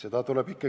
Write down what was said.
Ei ole nii.